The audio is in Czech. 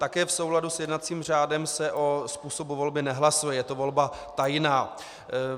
Také v souladu s jednacím řádem se o způsobu volby nehlasuje, je to volba tajná.